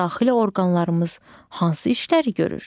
Bəs daxili orqanlarımız hansı işləri görür?